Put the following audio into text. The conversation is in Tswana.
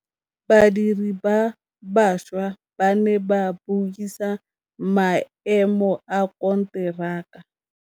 Badiri ba baša ba ne ba buisa maêmô a konteraka.